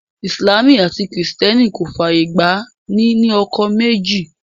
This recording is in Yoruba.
Ìsìlámù àti kìrìtẹ́nì kò fàyè gba ní ní ọkọ méjì